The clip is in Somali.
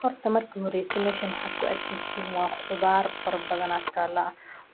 Horta marka horese meshan waxad ku arkeyse waa khudaar badan aa tala